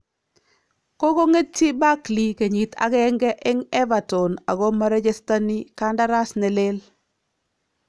Kokong'etyi Barkley kenyiit agenge en Everton ako marechestani kandaras nelel